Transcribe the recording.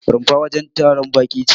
Rumfa wajen taron baƙi ce.